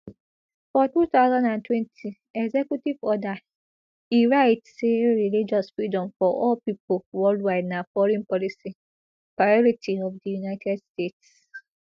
for two thousand and twenty executive order e write say religious freedom for all pipo worldwide na foreign policy priority of di united states